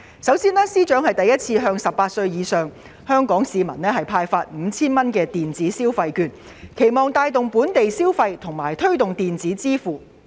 首先，司長首次向18歲或以上的香港市民派發每人 5,000 元的電子消費券，期望藉此帶動本地消費和推動電子支付。